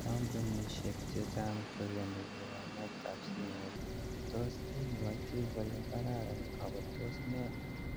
Kampunishek chechang koyani lipanet ap simoit. Tos ipwoti kole karan ako tos nee